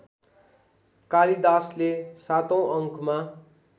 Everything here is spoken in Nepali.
कालिदासले सातौँ अङ्कमा